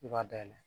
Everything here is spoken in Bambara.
I b'a dayɛlɛ